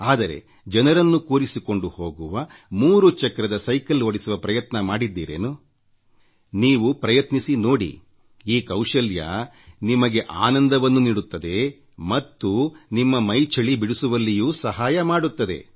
ಆದರೆ ಜನರನ್ನು ಕೂರಿಸಿಕೊಂಡು ಹೋಗುವ ಮೂರು ಚಕ್ರದ ಸೈಕಲ್ ಓಡಿಸುವ ಪ್ರಯತ್ನ ಮಾಡಿದ್ದೀರೇನು ನೀವು ಪ್ರಯತ್ನಿಸಿ ನೋಡಿ ಈ ಕೌಶಲ್ಯ ನಿಮಗೆ ಆನಂದವನ್ನೂ ನೀಡುತ್ತದೆ ಮತ್ತು ನಿಮ್ಮ ಎಲ್ಲೆಯನ್ನು ಬದುಕಿನ ಮಿತಿಯನ್ನು ಮೀರಿ ಕೆಲಸ ಮಾಡಲು ಸಹಾಯ ಮಾಡುತ್ತದೆ